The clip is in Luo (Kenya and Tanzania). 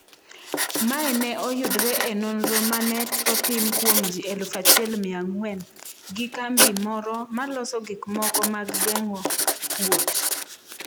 Mae ne oyudre e nonro mane otim kuom ji 1,400 gi kambi moro maloso gikmoko mag geng'o kuot.